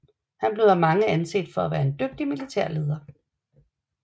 Han blev af mange anset for at være en dygtig militær leder